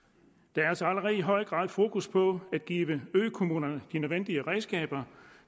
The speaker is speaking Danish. der er altså allerede i høj grad fokus på at give økommunerne de nødvendige redskaber